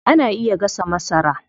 Ana iya gasa masara.